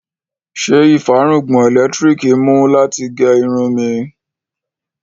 Ṣé ìfárùngbọ̀n ẹlẹ́lẹtiriki mú láti gé irun mí?